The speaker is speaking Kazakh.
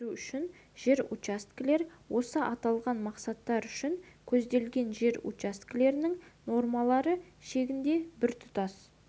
шаруашылық жүргізу үшін жер учаскелер осы аталған мақсаттар үшін көзделген жер учаскелерінің нормалары шегінде біртұтас